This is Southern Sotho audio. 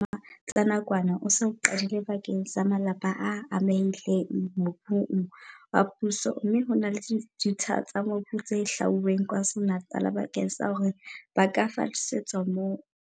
Mosebetsi wa ho aha dibaka tsa bodulo tsa nakwana o se o qadile bakeng sa malapa a amehileng mobung wa puso mme ho na le ditsha tsa mobu tse hlwauweng KwaZulu-Natal bakeng sa hore ba ka fallisetswa moo.